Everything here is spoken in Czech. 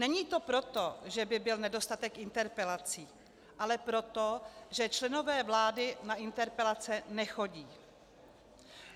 Není to proto, že by byl nedostatek interpelací, ale proto, že členové vlády na interpelace nechodí.